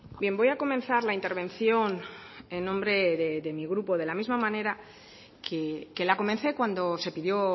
bien voy a comenzar la intervención en nombre de mi grupo de la misma manera que la comencé cuando se pidió